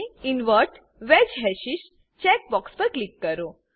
invert wedge hashes invert wedged hashes checkbox પર click કરો